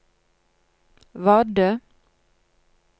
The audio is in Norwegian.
Vardø